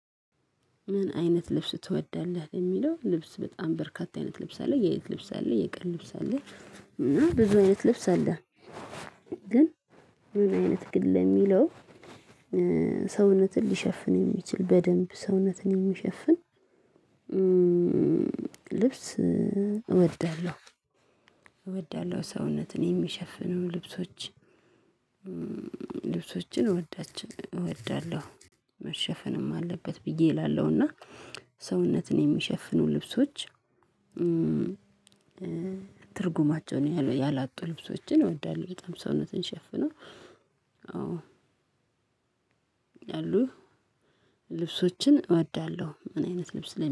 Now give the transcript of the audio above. ምን አይነት ልብስ ትወዳለህ? ለሚለው ልብስ በጣም በርካታ አይነት ልብስ አለ የሌሊት ልብስ አለ የቀን ልብስ አለ እና ብዙ አይነት ልብስ አለ። ግን ብዙ አይነት ግን ለሚለው ሰውነትን ሊሸፍን የሚችል በደንብ ሰውነትን የሚሸፍን ልብስ እወዳለሁ። እወዳለሁ ሰውነትን የሚሸፍነው ልብሶች ልብሶችን እወዳለሁ። መሸፈንም አለበት ብዬ እላለሁና ሰውነትን የሚሸፍኑ ልብሶች ትርጉማቸውን ያላጡ ልብሶችን እወዳለሁ በጣም ሰውነትን ሸፍኖ አው አሉ ልብሶችን እወዳለሁ። ምን አይነት ልብስ ለምን